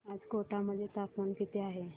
आज कोटा मध्ये तापमान किती आहे